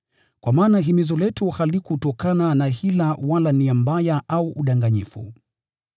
Kwa maana himizo letu halikutokana na hila wala nia mbaya au udanganyifu.